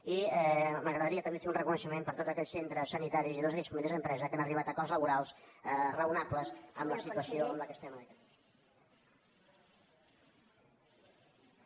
i m’agradaria també fer un reconeixement per a tots aquells centres sanitaris i tots aquells comitès d’empresa que han arribat a acords laborals raonables en la situació en la qual estem en aquests moments